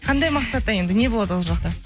қандай мақсатта енді не болады ол жақта